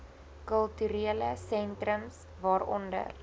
kulturele sentrums waaronder